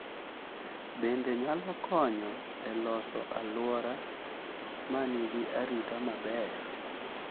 Bende nyalo konyo e loso alwora ma nigi arita maber.